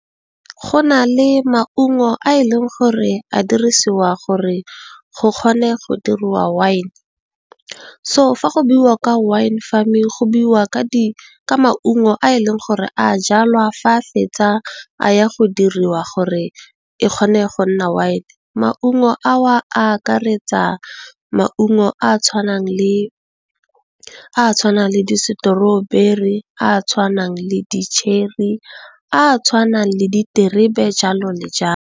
Go na le maungo a e leng gore a dirisiwa gore go kgone go dirwa wine, so fa go buiwa ka wine farming go buiwa ka maungo a e leng gore a jalwa, fa a fetsa a ya go diriwa gore a kgone go nna wine. Maungo a akaretsa maungo a tshwanang le di strawberry, a tshwanang le di cherry, a tshwanang le diterebe jalo le jalo.